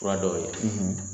Fura dɔw bɛ yen